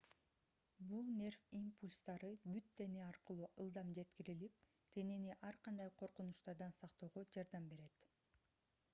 бул нерв импульстары бүт дене аркылуу ылдам жеткирилип денени ар кандай коркунучтардан сактоого жардам берет